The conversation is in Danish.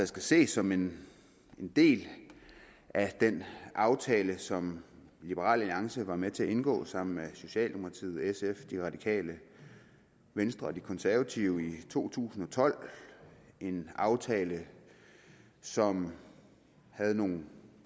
skal ses som en del af den aftale som liberal alliance var med til at indgå sammen med socialdemokratiet sf de radikale venstre og de konservative i to tusind og tolv en aftale som havde nogle